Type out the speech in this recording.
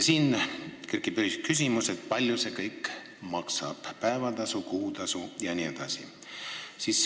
Siis kerkib üles küsimus, kui palju see kõik maksab – päevatasu, kuutasu jne.